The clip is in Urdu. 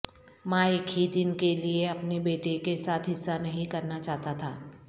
ماں ایک ہی دن کے لئے اپنے بیٹے کے ساتھ حصہ نہیں کرنا چاہتا تھا